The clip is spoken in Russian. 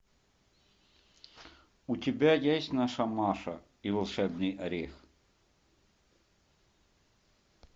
у тебя есть наша маша и волшебный орех